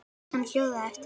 Hann hjólaði eftir